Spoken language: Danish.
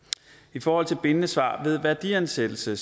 i forhold til bindende svar ved værdiansættelse